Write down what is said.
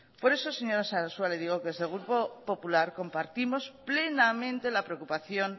por eso señora sarasua le digo que desde el grupo popular compartimos plenamente la preocupación